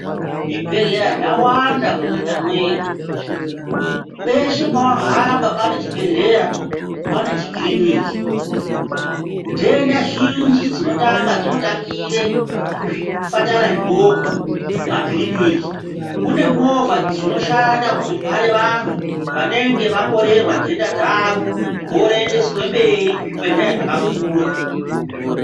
Zvibhedhleya zvawanda munyika mwedu, peshe pawahamba pane chibhehleya pane chikiriniki. Nhenda zhinji dzinotanga dzinotangire kuzvipatara zvidoko kumakiriniki. Kune movha dzakawanda dzinoshandiswa kuzotware vantu vanenge vakorerwa nhenda dzavo voendeswe mberi kune zvibhedhlera zvakakura.